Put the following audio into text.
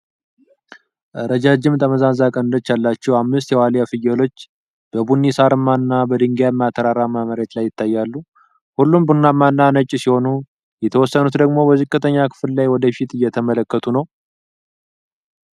ረጃጅም ጠመዝማዛ ቀንዶች ያላቸው አምስት የዋልያ ፍየሎች በቡኒ ሳርማና በድንጋያማ ተራራማ መሬት ላይ ይታያሉ። ሁሉም ቡናማና ነጭ ሲሆኑ የተወሰኑት ደግሞ በዝቅተኛው ክፍል ላይ ወደፊት እየተመለከቱ ነው።